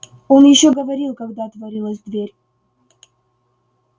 он ещё говорил когда отворилась дверь